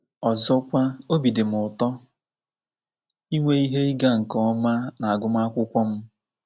Ọzọkwa, obi dị m ụtọ inwe ihe ịga nke ọma n’agụmakwụkwọ m.